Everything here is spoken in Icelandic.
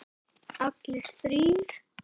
Allir þrír?